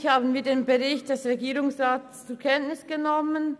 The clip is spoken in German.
Eigentlich haben wir den Bericht des Regierungsrats zur Kenntnis genommen.